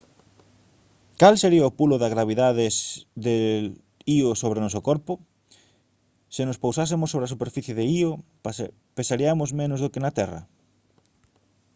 cal sería o pulo da gravidade de io sobre o noso corpo se nos pousásemos sobre a superficie de io pesariamos menos do que na terra